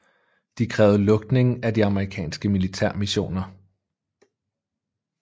De krævede lukning af de amerikanske militærmissioner